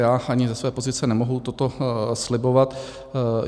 Já ani ze své pozice nemohu toto slibovat.